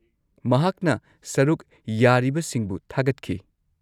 -ꯃꯍꯥꯛꯅ ꯁꯔꯨꯛ ꯌꯥꯔꯤꯕꯁꯤꯡꯕꯨ ꯊꯥꯒꯠꯈꯤ ꯫